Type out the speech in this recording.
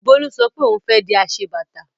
Bólú sọ pé òun fẹ́ di aṣebàtà.